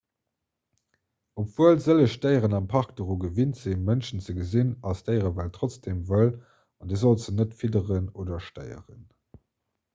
obwuel sëlleg déieren am park doru gewinnt sinn mënschen ze gesinn ass d'déierewelt trotzdeem wëll an dir sollt se net fidderen oder stéieren